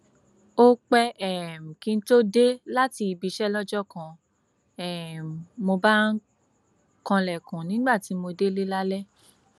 ó pẹ um kí n tóó dé láti ibi iṣẹ lọjọ kan um mo bá ń kanlẹkùn nígbà tí mo délé lálẹ